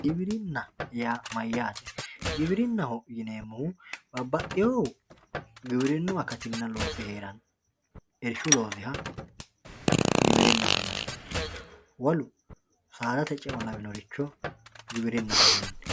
giwirinna yaa mayyate giwirinnaho yineemmohu babbaxeewohu giwirinnu loosinna akatinna loosi heeranno irishshu loosiha giwirinnaho yinanni wolu saaadate ceo lawinoricho giwirinnaho yinanni